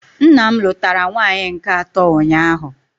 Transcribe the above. Nna m lụtara nwaanyị nke atọ ụnyaahụ